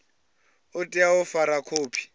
u tea u fara khophi